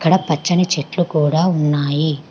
ఇక్కడ పచ్చని చెట్లు కూడా ఉన్నాయి.